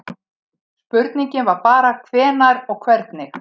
Spurningin var bara hvenær og hvernig.